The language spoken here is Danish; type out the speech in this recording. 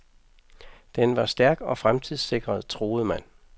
Den var stærk og fremtidssikret, troede man.